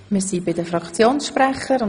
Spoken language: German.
Wir kommen zu den Fraktionssprechern.